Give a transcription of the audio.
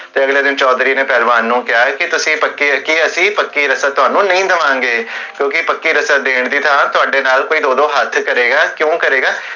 ਤੇ ਅਗਲੇ ਦਿਨ ਚੋਧਰੀ ਨੇ ਪਹਲਵਾਨ ਨੂ ਕੇਹਾ ਕੀ, ਕੀ ਤੁਸੀਂ, ਅਸੀਂ ਪੱਕੀ ਰਸਮ ਤੁਹਾਨੂ ਨਹੀ ਦੇਵਾਂਗੇ ਕਿਓਂਕਿ ਪੱਕੀ ਰਸਮ ਦੇਣ ਦੀ ਥਾਂ ਤੁਹਾਡੇ ਨਾਲ ਕੋਈ ਦੋ ਦੋ ਹਥ ਕਰੇਗਾ ਕਿਓਂ ਕਰੇਗਾ?